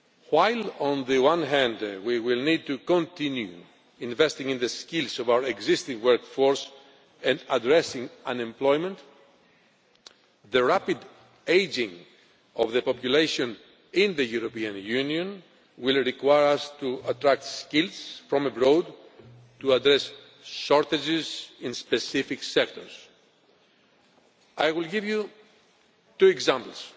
While, on the one hand, we will need to continue investing in the skills of our existing workforce and addressing unemployment, the rapid ageing of the population in the European Union will require us to attract skills from abroad to address shortages in specific sectors. I will give you two examples.